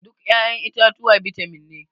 Duk ya'yan itatuwa bitamin ne.